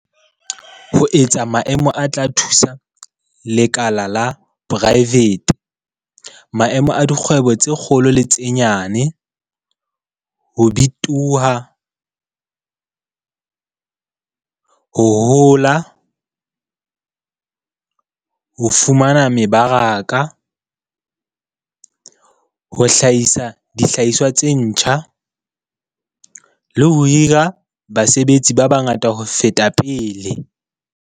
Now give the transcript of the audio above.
ho etsa maemo a tla thusa lekala la poraefete - maemong a dikgwebo tse kgolo le tse nyenyane - ho bitoha, ho hola, ho fumana mebaraka, ho hlahisa dihlahiswa tse ntjha, le ho hira basebetsi ba bangata ho feta pele.